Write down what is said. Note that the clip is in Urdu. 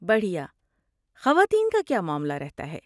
بڑھیا۔ خواتین کا کیا معاملہ رہتا ہے؟